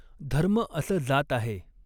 धर्म असं जात आहे.